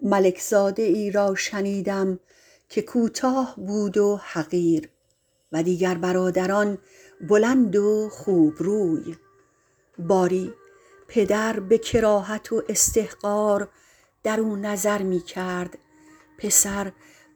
ملک زاده ای را شنیدم که کوتاه بود و حقیر و دیگر برادران بلند و خوب روی باری پدر به کراهت و استحقار درو نظر می کرد پسر